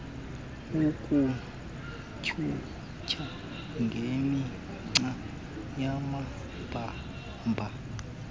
ukutyhutyha ngemigca yamabamba